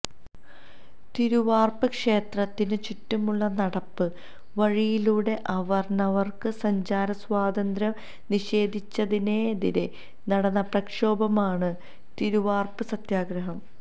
തിരുവാർപ്പ് ക്ഷേത്രത്തിന് ചുറ്റുമുള്ള നടപ്പ് വഴിയിലൂടെ അവർണർക്ക് സഞ്ചാര സ്വാതന്ത്ര്യം നിഷേധിച്ചതിനെതിരെ നടന്ന പ്രക്ഷോഭമാണ് തിരുവാർപ്പ് സത്യഗ്രഹം